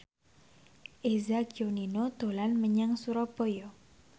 Eza Gionino dolan menyang Surabaya